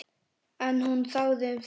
En hún þagði um það.